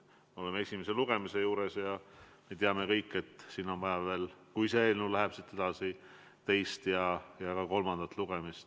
Me oleme esimese lugemise juures ja teame, et kui see eelnõu läheb siit edasi, on vaja ka teist ja kolmandat lugemist.